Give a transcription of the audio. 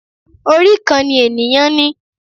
Orí kan ni ènìyàn ni.